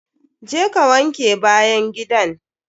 Je ka wanke bayan gidan!